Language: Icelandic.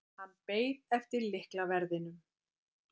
Hann beið eftir lyklaverðinum.